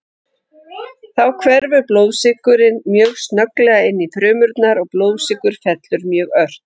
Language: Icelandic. Þá hverfur blóðsykurinn mjög snögglega inn í frumurnar og blóðsykur fellur mjög ört.